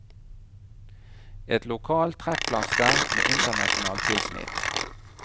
Et lokalt trekkplaster med internasjonalt tilsnitt.